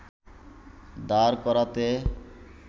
দাঁড় করাতে